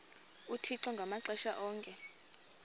uthixo ngamaxesha onke